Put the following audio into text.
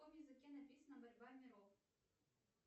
на каком языке написана борьба миров